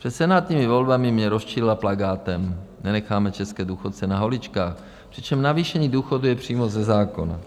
Před senátními volbami mě rozčilila plakátem "Nenecháme české důchodce na holičkách", přičemž navýšení důchodů je přímo ze zákona.